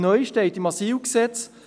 Neu steht im AsylG: